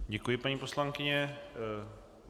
Děkuji, paní poslankyně.